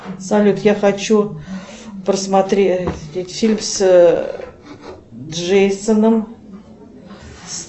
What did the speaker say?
салют я хочу просмотреть фильм с джейсоном